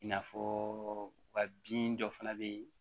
I n'a fɔ u ka bin dɔ fana bɛ yen